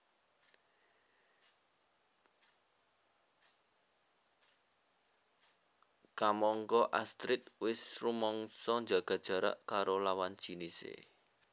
Kamangka Astrid wis rumangsa njaga jarak karo lawan jinisé